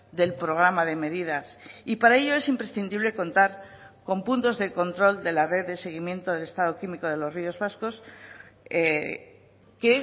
del programa de medidas y para ello es imprescindible contar con puntos de control de la red de seguimiento del estado químico de los ríos vascos que